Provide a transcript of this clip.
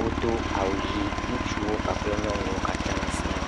wodo awu ɣi. Ŋutsuwo kpakple nyɔnuwo katã sĩa.